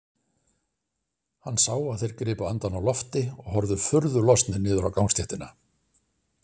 Hann sá að þeir gripu andann á lofti og horfðu furðu lostnir niður á gangstéttina.